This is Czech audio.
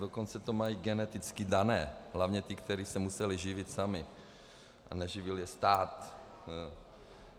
Dokonce to mají geneticky dané, hlavně ti, kteří se museli živit sami a neživil je stát.